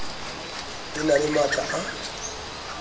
e na le matla a